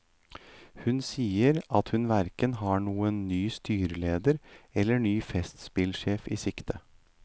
Hun sier at hun hverken har noen ny styreleder eller ny festspillsjef i sikte.